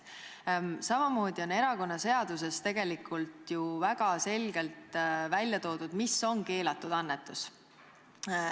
Samamoodi on erakonnaseaduses tegelikult väga selgelt ära toodud, mis on keelatud annetus.